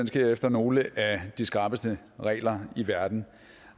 sker efter nogle af de skrappeste regler i verden